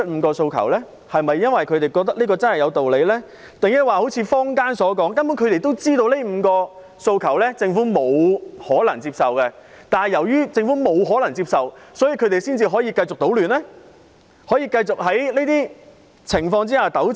他們真的認為5項訴求有道理，還是好像坊間所說，他們根本知道政府不可能接受，但正因為這樣，他們才可以繼續搗亂、可以繼續糾纏？